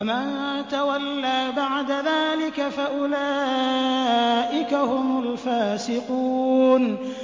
فَمَن تَوَلَّىٰ بَعْدَ ذَٰلِكَ فَأُولَٰئِكَ هُمُ الْفَاسِقُونَ